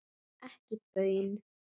Ekki baun.